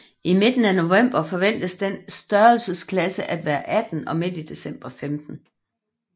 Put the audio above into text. I midten af november forventes dens størrelsesklasse at være 18 og midt i december 15